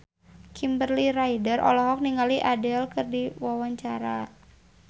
Kimberly Ryder olohok ningali Adele keur diwawancara